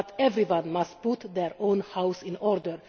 But everybody must put their own house in order.